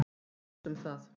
Vertu ekki of viss um það.